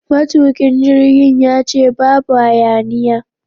Matukin jirgin ya ce babu hayaniya!